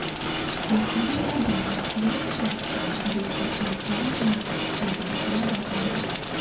मसीह का जन्म वर्ष प्राप्त हुआ जिसे अब आम तौर पर स्वीकार किया जाता है